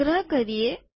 સંગ્રહ કરીએ